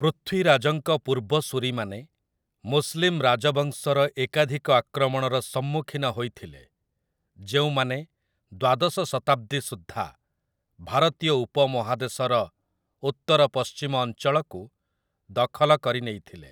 ପୃଥ୍ୱୀରାଜଙ୍କ ପୂର୍ବସୂରୀମାନେ ମୁସଲିମ୍ ରାଜବଂଶର ଏକାଧିକ ଆକ୍ରମଣର ସମ୍ମୁଖୀନ ହୋଇଥିଲେ, ଯେଉଁମାନେ ଦ୍ୱାଦଶ ଶତାବ୍ଦୀ ସୁଦ୍ଧା ଭାରତୀୟ ଉପମହାଦେଶର ଉତ୍ତରପଶ୍ଚିମ ଅଞ୍ଚଳକୁ ଦଖଲ କରିନେଇଥିଲେ ।